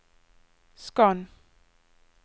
skann